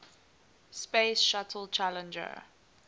space shuttle challenger